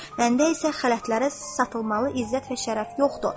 Məndə isə xələtlərə satılmalı izzət və şərəf yoxdur.